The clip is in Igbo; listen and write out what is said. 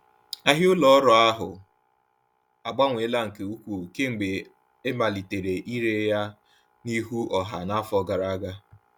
Ahịa ụlọ ọrụ ahụ agbanweela nke ukwuu kemgbe e malitere ire ya n’ihu ọha n’afọ gara aga.